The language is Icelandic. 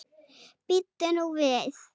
Bíddu nú við.